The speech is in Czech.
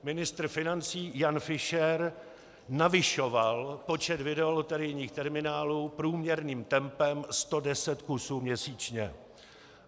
Ministr financí Jan Fischer navyšoval počet videoloterijních materiálů průměrným tempem 110 kusů měsíčně.